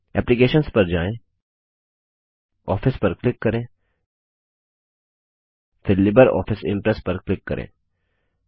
applications पर जाएँ office पर क्लिक करेंफिर लिब्रियोफिस इम्प्रेस पर क्लिक करें